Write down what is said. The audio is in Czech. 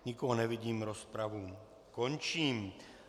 Nikoho nevidím, rozpravu končím.